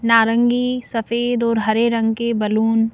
नारंगी सफेद और हरे रंग के बलून --